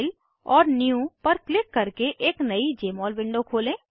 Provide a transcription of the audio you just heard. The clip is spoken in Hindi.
फाइल और न्यू पर क्लिक करके एक नयी जमोल विंडो खोलें